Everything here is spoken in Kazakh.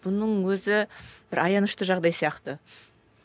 бұның өзі бір аянышты жағдай сияқты